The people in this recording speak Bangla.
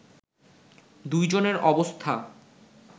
দুই জনের অবস্থা